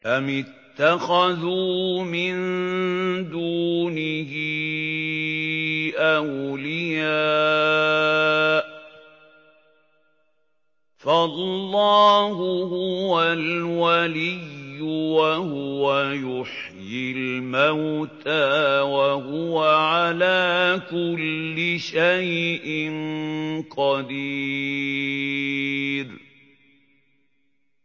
أَمِ اتَّخَذُوا مِن دُونِهِ أَوْلِيَاءَ ۖ فَاللَّهُ هُوَ الْوَلِيُّ وَهُوَ يُحْيِي الْمَوْتَىٰ وَهُوَ عَلَىٰ كُلِّ شَيْءٍ قَدِيرٌ